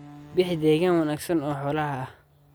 Bixi deegaan wanaagsan oo xoolaha ah.